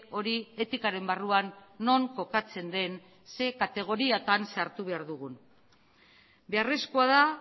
hori etikaren barruan non kokatzen den zein kategoriatan sartu behar dugun beharrezkoa da